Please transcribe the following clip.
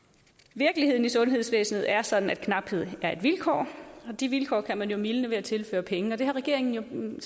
virkeligheden i sundhedsvæsenet er sådan at knaphed er et vilkår og det vilkår kan man jo mildne ved at tilføre penge det har regeringen